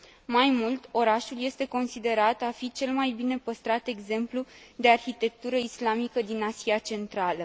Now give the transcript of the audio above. Mai mult, orașul este considerat a fi cel mai bine păstrat exemplu de arhitectură islamică din Asia Centrală.